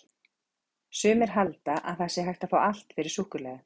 Sumir halda að það sé hægt að fá allt fyrir súkkulaði!